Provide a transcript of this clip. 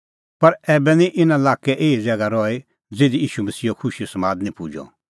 पर ऐबै निं इना लाक्कै एही ज़ैगा रही ज़िधी ईशू मसीहो खुशीओ समाद निं पुजअ